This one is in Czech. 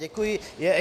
Děkuji.